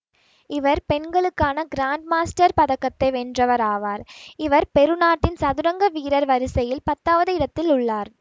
இவர் பெண்களுக்கான grand master பதக்கத்தை வென்றவர் ஆவார் இவர் பெரு நாட்டின் சதுரங்க வீரர்கள் வரிசையில் பத்தாவது இடத்தில் உள்ளார்